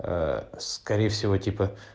скорее всего типа